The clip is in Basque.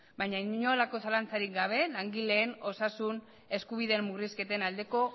baina inolako zalantzarik gabe langileen osasun eskubideen murrizketen aldeko